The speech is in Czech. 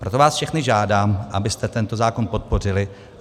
Proto vás všechny žádám, abyste tento zákon podpořili.